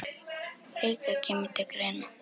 líka kemur til greina.